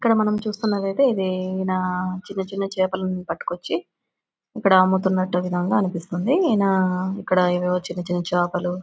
ఇక్కడ మనం చూస్తున్నది అయితే ఇది ఈయన చిన్న చిన్న చేపలను పట్టుకొచ్చి ఇక్కడ అమ్ముతునట్టు విధంగా అనిపిస్తోంది. ఈయన ఇక్కడ ఎదో చిన్న చిన్న చేపలు--